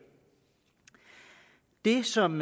det som